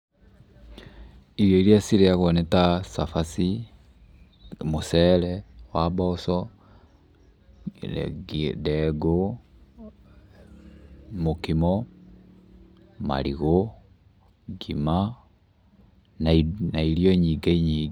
Irio iria cirĩagwo nĩ ta cabaci, mũcere wa mboco, ndengũ, mũkimo, marigũ, ngima, na irio nyingĩ nyingĩ.